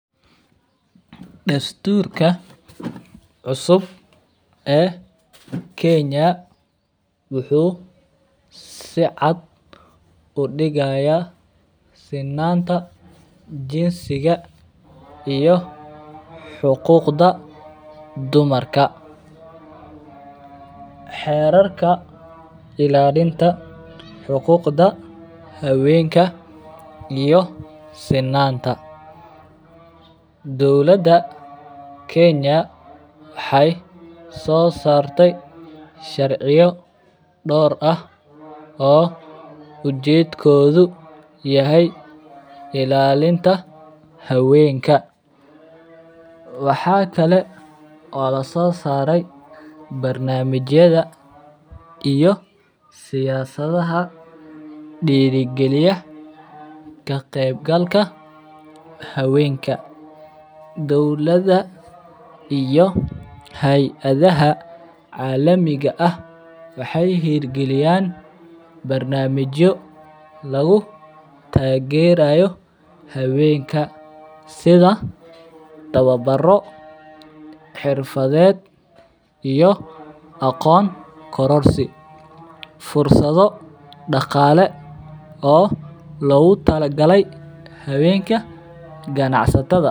Dasturka cusub ee kenya wuxuu si caad udigaya sinanta jinsiga iyo xuquqda dumarka, xerarka ilalinta xuquqda hawenka iyo sinanta doqlaada kenya waxee so sarte sharciyo dor ah oo ujedkodhu yahay ilalinta hawenku, waxaa kale oo lasosare barnamijaada iyo siyasadhaha dira galiya kaqeb galka hawenka dowlaada iyo heyaadaha calamiga ah waxee hir gaiyan barnamijo lagu tagerayo hawenka sitha tawabaro xirfaaded iyo aqon korarsi iyo fursadho daqale waxaa logu tala gale hawenka ganacsataadha.